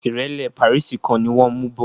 ìrẹ́lẹ́ pàríìsì kan ni wọ́n mú bọ̀